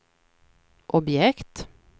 objekt